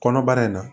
Kɔnɔbara in na